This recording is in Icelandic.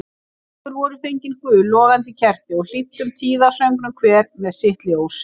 Okkur voru fengin gul logandi kerti og hlýddum tíðasöngnum hver með sitt ljós.